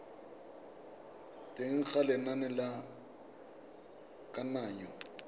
teng ga lenane la kananyo